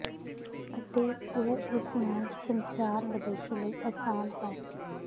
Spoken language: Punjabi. ਅਤੇ ਉਹ ਉਸ ਨਾਲ ਸੰਚਾਰ ਵਿਦੇਸ਼ੀ ਲਈ ਅਸਾਨ ਹੈ